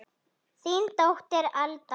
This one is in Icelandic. Þín dóttir, Alda.